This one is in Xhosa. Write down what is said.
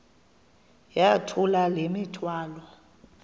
yithula le mithwalo